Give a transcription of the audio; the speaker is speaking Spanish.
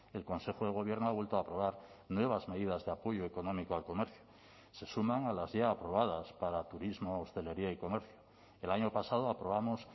el consejo de gobierno ha vuelto a aprobar nuevas medidas de apoyo económico al comercio se suman a las ya aprobadas para turismo hostelería y comercio el año pasado aprobamos